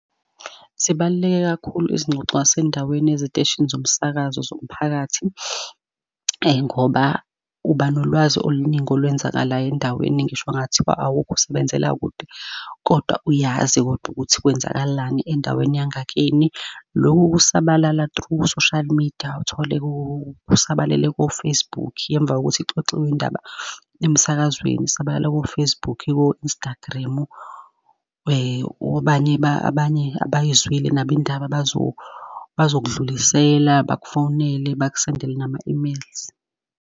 Zibaluleke kakhulu izingxoxo zasendaweni eziteshini zomsakazo zomphakathi. Ngoba uba nolwazi oluningi olwenzakalayo endaweni ngisho ngathiwa awukho usebenzela kude, kodwa uyazi kodwa ukuthi kwenzakalani endaweni yangakini. Loku kusabalala through social media uthole kusabalele ko-Facebook emva kokuthi kuxoxiwe indaba emsakazweni, sabala ko-Facebook ko-Instagram obani abanye abayizwile nabo indaba bazokdlulisela, bakufowunele, bakusendele nama-emails.